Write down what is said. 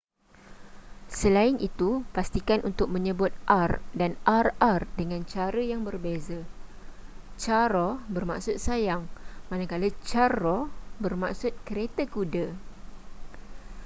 selain itu pastikan untuk menyebut r dan rr dengan cara yang berbeza caro bermaksud sayang manakala carro bermaksud kereta kuda